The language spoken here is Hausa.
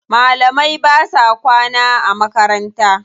Malamai ba sa kwana a makaranta.